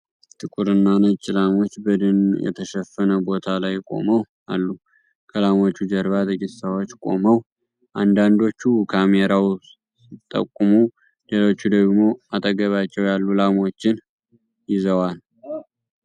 ጥቁር እና ነጭ ላሞች በደን የተሸፈነ ቦታ ላይ ቆመው አሉ። ከላሞቹ ጀርባ ጥቂት ሰዎች ቆመው፣ አንዳንዶቹ ወደ ካሜራው ሲጠቁሙ ሌሎች ደግሞ አጠገባቸው ያሉ ላሞችን ይዘዋል።